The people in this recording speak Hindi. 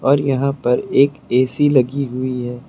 और यहां पर एक ए_सी लगी हुई है।